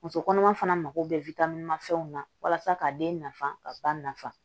Muso kɔnɔma fana mago bɛ fɛnw na walasa ka den nafa ka ba nafa